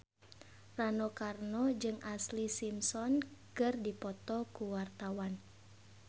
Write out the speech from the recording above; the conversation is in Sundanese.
Rano Karno jeung Ashlee Simpson keur dipoto ku wartawan